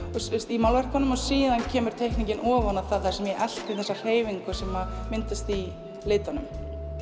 í málverkunum og síðan kemur teikningin ofan á það þar sem ég elti þessa hreyfingu sem myndast í litunum